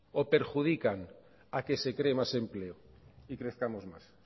o perjudican a que se cree más empleo y crezcamos más